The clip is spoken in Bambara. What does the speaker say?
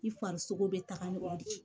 I farisogo be taga ɲɔgɔn fɛ